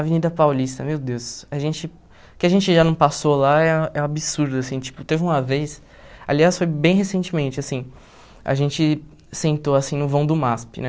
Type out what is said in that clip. Avenida Paulista, meu Deus, a gente, que a gente já não passou lá é é um absurdo, assim, tipo, teve uma vez, aliás, foi bem recentemente, assim, a gente sentou, assim, no vão do MASP, né,